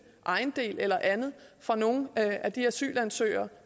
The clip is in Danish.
ejendel eller andet fra nogen af de asylansøgere